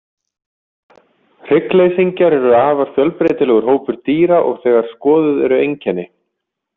Hryggleysingjar eru afar fjölbreytilegur hópur dýra og þegar skoðuð eru einkenni.